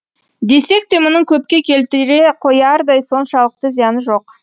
десек те мұның көпке келтіре қоярдай соншалықты зияны жоқ